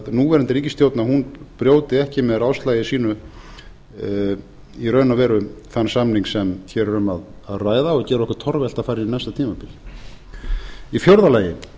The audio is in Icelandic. núverandi ríkisstjórn brjóti ekki með ráðslagi sínu í raun og veru þann samning sem hér er um að ræða og geri okkur torvelt að fara í næsta tímabil í fjórða lagi